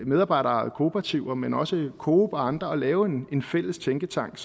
medarbejderkooperativer men også coop og andre at lave en fælles tænketank